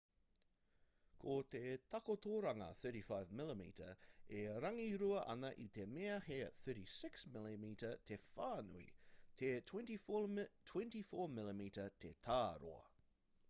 ko te takotoranga 35mm e rangirua ana i te mea he 36mm te whānui te24mm te tāroa